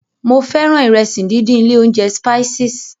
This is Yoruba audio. Mo fẹ́ràn ìrẹsì díndín ilé óúnjẹ Spices.